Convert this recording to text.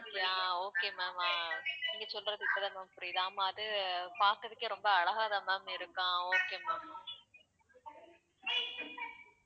அஹ் okay ma'am அ நீங்க சொல்றது இப்பதான் ma'am புரியுது ஆமா அது பாக்குறதுக்கே ரொம்ப அழகாதான் ma'am இருக்கும் okay ma'am